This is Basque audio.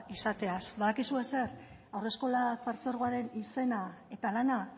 izateaz badakizue zer haurreskolak partzuergoaren izena eta lana